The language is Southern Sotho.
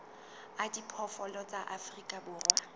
a diphoofolo tsa afrika borwa